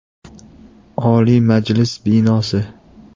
Oliy Majlis binosi.